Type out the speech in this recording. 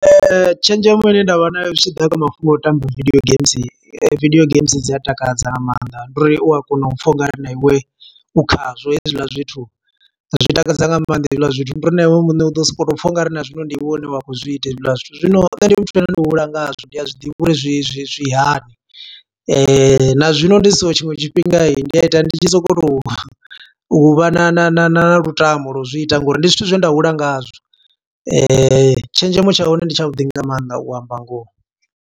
Tshenzhemo ine nda vha nayo, zwi tshiḓa kha mafhungo a u tamba video games. Video games dzi a takadza nga maanḓa, ndi uri u a kona u pfa ungari na iwe, u khazwo hezwiḽa zwithu. Zwi takadza nga maanḓa hezwiḽa zwithu, ndi uri na iwe muṋe u ḓo sokou tou pfa ungari na zwino ndi iwe une wa khou zwi ita hezwiḽa zwithu. Zwino nṋe ndi muthu ane ndo hula nga hazwo, ndi a zwiḓivha uri zwi zwi zwi hani. Na zwino ndi so tshiṅwe tshifhinga, ndi a ita ndi tshi so ko to u vha, na na na na lutamo lwa u zwi ita ngo uri ndi zwithu zwe nda hula ngazwo. Tshenzhemo tsha hone ndi tsha vhuḓi nga maanḓa u amba ngoho.